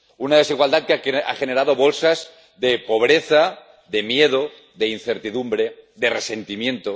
Una desigualdad que ha generado bolsas de pobreza, de miedo, de incertidumbre, de resentimiento.